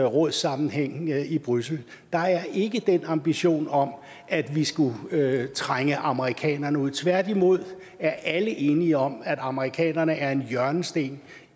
rådssammenhæng i bruxelles der er ikke den ambition om at vi skulle trænge amerikanerne ud tværtimod er alle enige om at amerikanerne er en hjørnesten